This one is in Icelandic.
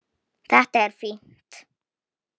Þetta er fínt.